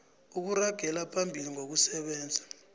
ukuragela phambili ngokusebenza